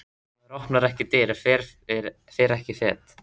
Maður opnar ekki dyr, fer ekki fet.